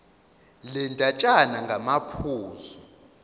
le ndatshana ngamaphuzu